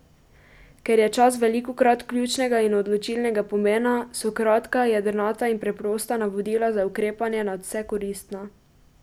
Ker je čas velikokrat ključnega in odločilnega pomena, so kratka, jedrnata in preprosta navodila za ukrepanje nadvse koristna.